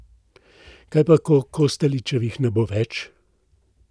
Kaj pa, ko Kostelićevih ne bo več?